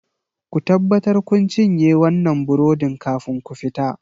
Ku tabbatar kun cinye wannan burodin kafin ku fita!